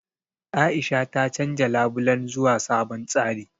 A'isha ta canja labulen zuwa sabon tsari.